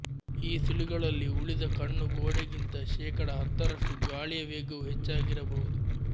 ಈ ಸುಳಿಗಳಲ್ಲಿ ಉಳಿದ ಕಣ್ಣು ಗೋಡೆಗಿಂತ ಶೇಕಡಾ ಹತ್ತರಷ್ಟು ಗಾಳಿಯ ವೇಗವು ಹೆಚ್ಚಾಗಿರಬಹುದು